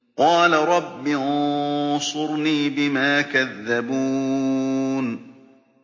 قَالَ رَبِّ انصُرْنِي بِمَا كَذَّبُونِ